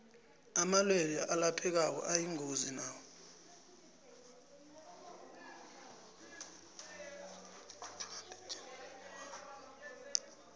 amalwelwe alaphekako ayingozi nawo